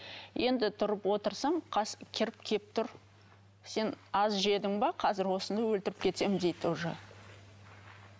енді тұрып отырсам кіріп келіп тұр сен аз жедің бе қазір осыны өлтіріп кетемін дейді уже